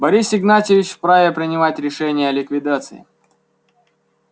борис игнатьевич вправе принимать решения о ликвидации